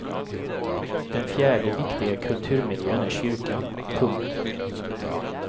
Den fjärde viktiga kulturmiljön är kyrkan. punkt